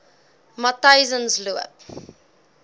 matyzensloop